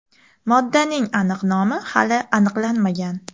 Moddaning aniq nomi hali aniqlanmagan.